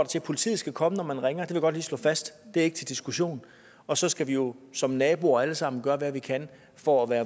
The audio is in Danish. til at politiet skal komme når man ringer det godt lige slå fast det er ikke til diskussion og så skal vi jo som naboer alle sammen gøre hvad vi kan for at være